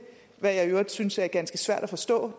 hvad jeg i øvrigt synes er ganske svært at forstå